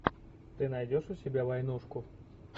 ты найдешь у себя войнушку